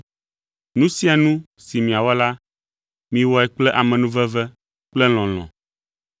Nu sia nu si miawɔ la, miwɔe kple amenuveve kple lɔlɔ̃.